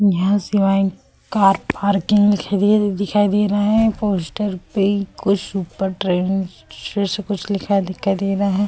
यहाँ शिवाय car parking में खड़ी दिखाई दे रहा है। पोस्टर पे कुछ ऊपर जैसा कुछ लिखा दिखाई दे रहा है।